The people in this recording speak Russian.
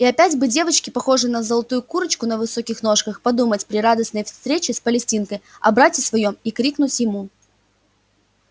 и опять бы девочке похожей на золотую курочку на высоких ножках подумать при радостной встрече с палестинкой о брате своём и крикнуть ему